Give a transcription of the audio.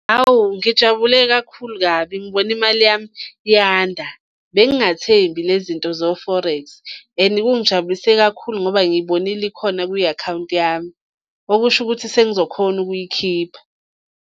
Hawu, ngijabule kakhulu kabi ngibona imali yami yanda, bengingathembi le zinto zo-forex, and kungijabulisa kakhulu ngoba ngiyibonile ikhona kwi-akhawunti yami. Okusho ukuthi sengizokhona ukuyikhipha.